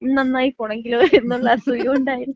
നമ്മളെങ്ങാനും നന്നായി പോണെങ്കിലോ എന്നൊള്ള അസൂയ കൊണ്ടായിരിക്കും.